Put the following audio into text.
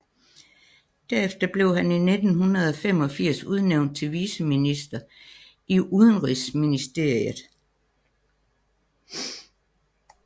Derefter blev han i 1985 udnævnt til viceminister i udenrigsministeriet